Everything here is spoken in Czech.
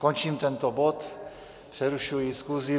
Končím tento bod, přerušuji schůzi.